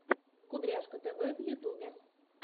кудряшка тв в ютюбе